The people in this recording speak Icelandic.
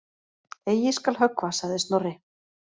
Eigi skal höggva sagði Snorri.